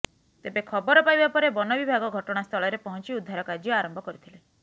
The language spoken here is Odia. ତେବେ ଖବର ପାଇବା ପରେ ବନ ବିଭାଗ ଘଟଣାସ୍ଥଳରେ ପହଞ୍ଚି ଉଦ୍ଧାର କାର୍ୟ୍ୟ ଆରମ୍ଭ କରିଥିଲେ